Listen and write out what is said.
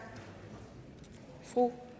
fru